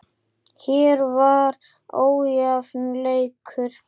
Hér var ójafn leikur.